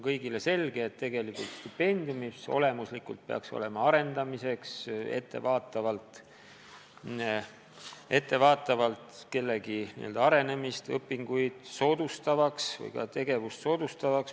Kõigile on selge, et stipendiumid peaksid ettevaatavalt toetama kellegi arenemist, soodustama õpinguid või ka tegevust.